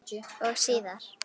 Og síðar.